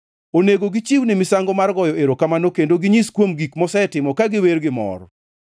Onego gichiwne misango mar goyo erokamano kendo ginyis kuom gik mosetimo ka giwer gi mor.